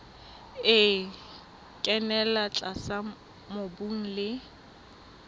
e kenella tlase mobung le